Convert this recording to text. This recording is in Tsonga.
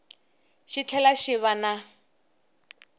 xi tlhela xi va na